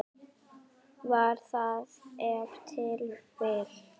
Var það ef til vill.